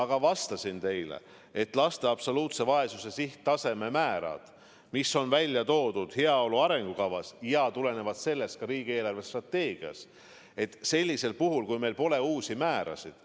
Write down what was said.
Ma vastasin teile ka, et laste absoluutse vaesuse sihttasemed, mis on välja toodud heaolu arengukavas ja tulenevalt sellest ka riigi eelarvestrateegias, tulenevad sellest, et meil pole värskeid määrasid.